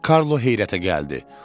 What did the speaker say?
Karlo heyrətə gəldi.